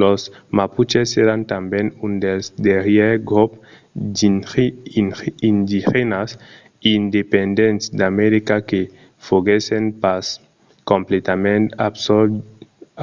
los mapuches èran tanben un dels darrièrs grops indigènas independents d'america que foguèssen pas completament